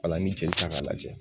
Ola n'i jelita ka lajɛ